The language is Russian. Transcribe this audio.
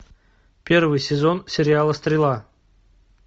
первый сезон сериала стрела